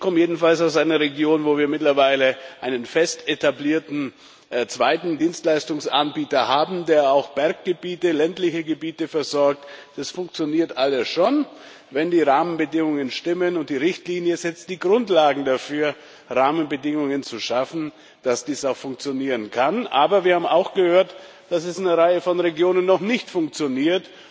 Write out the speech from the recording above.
Ich komme jedenfalls aus einer Region, wo wir mittlerweile einen fest etablierten zweiten Dienstleistungsanbieter haben, der auch Berggebiete, ländliche Gebiete versorgt. Das funktioniert alles schon, wenn die Rahmenbedingungen stimmen und die Richtlinie setzt die Grundlagen dafür, Rahmenbedingungen zu schaffen, damit dies auch funktionieren kann. Aber wir haben auch gehört, dass es in einer Reihe von Regionen noch nicht funktioniert.